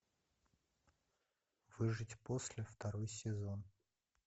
выжить после второй сезон